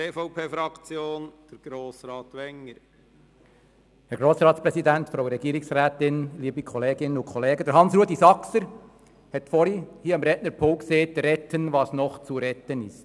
Grossrat Saxer hat vorhin gesagt, es sei zu retten, was es noch zu retten gibt.